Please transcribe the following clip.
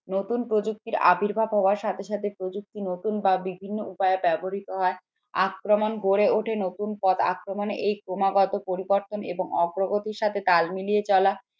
নতুন প্রযুক্তির আবির্ভাব হওয়ার সাথে সাথে প্রযুক্তি নতুন বা বিভিন্ন উপায়ে ব্যবহৃত হয় আক্রমণ গড়ে ওঠে নতুন পথ আক্রমণে এই ক্রমাগত পরিবর্তন এবং অগ্রগতি সাথে তাল মিলিয়ে চলা